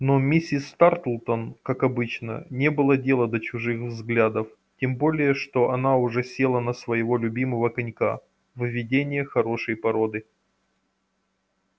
но миссис тартлтон как обычно не было дела до чужих взглядов тем более что она уже села на своего любимого конька выведение хорошей породы